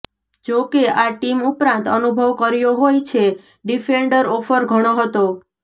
જોકે આ ટીમ ઉપરાંત અનુભવ કર્યો હોય છે ડિફેન્ડર ઓફર ઘણો હતો